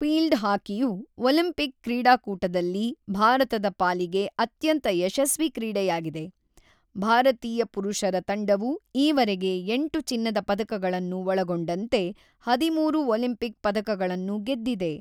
Field ಹಾಕಿಯು Olympic ಕ್ರೀಡಾಕೂಟದಲ್ಲಿ ಭಾರತದ ಪಾಲಿಗೆ ಅತ್ಯಂತ ಯಶಸ್ವಿ ಕ್ರೀಡೆಯಾಗಿದೆ, ಭಾರತೀಯ ಪುರುಷರ ತಂಡವು ಈವರೆಗೆ ಎಂಟು ಚಿನ್ನದ ಪದಕಗಳನ್ನು ಒಳಗೊಂಡಂತೆ ಹದಿಮೂರು ಒಲಿಂಪಿಕ್ ಪದಕಗಳನ್ನು ಗೆದ್ದಿದೆ.